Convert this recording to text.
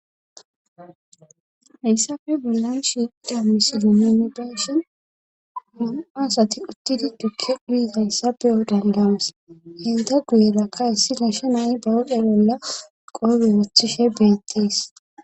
hayssafe bellan shida misido minedeshin mum7asati uttidi dukke guye hayssape yo dandawas hinta guyelakka issi nashe nayi bawoqe bolla qoobey wothishe beettiis